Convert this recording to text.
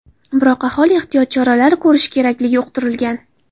Biroq aholi ehtiyot choralari ko‘rishi kerakligi uqtirilgan.